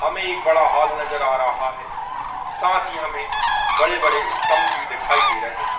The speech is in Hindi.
हमें एक बड़ा हॉल नज़र आ रहा है साथ ही हमें बड़े-बड़े स्तंभ दिखाई दे रहे है।